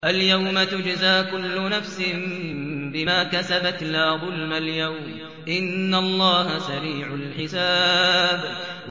الْيَوْمَ تُجْزَىٰ كُلُّ نَفْسٍ بِمَا كَسَبَتْ ۚ لَا ظُلْمَ الْيَوْمَ ۚ إِنَّ اللَّهَ سَرِيعُ الْحِسَابِ